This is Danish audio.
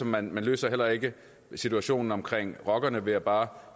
man løser heller ikke situationen omkring rockerne ved bare